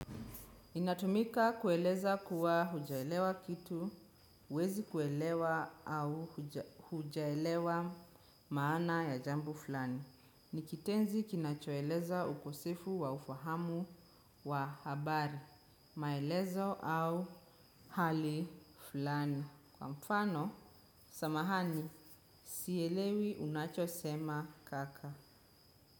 Inatumika kueleza kuwa hujaelewa kitu, huwezi kuelewa au hujaelewa maana ya jambo fulani. Ni kitenzi kinachoeleza ukosefu wa ufahamu wa habari, maelezo au hali fulani. Kwa mfano, samahani, sielewi unachosema kaka.